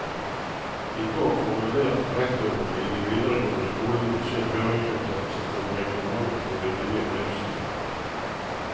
I går formulerte rektorene i de videregående skolene sin høringsuttalelse til reglementet for de nye driftsstyrene.